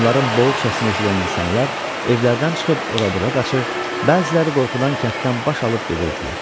Onların boğuq səsini eşidən insanlar evlərdən çıxıb ora-bura qaçır, bəziləri qorxudan kənddən baş alıb gedirdilər.